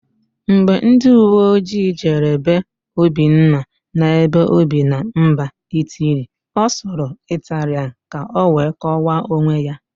Mgbe ndịuweojii jere be Obinna na-ebe óbì na mba Itili, ọ sụrụ Ịtalịan ka ọ wee kọwaa onwe ya.